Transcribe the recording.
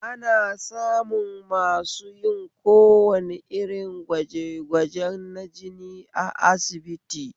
Ana samun masu yin kowane irn gwaje gwajen na jini a asibiti